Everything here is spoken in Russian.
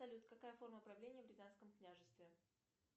салют какая форма правления в рязанском княжестве